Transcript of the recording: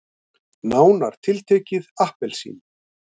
Nánar tiltekið appelsínur.